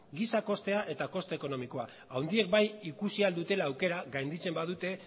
giza kostea eta koste ekonomikoa handiek bai ikusi ahal dutela aukera gainditzen badute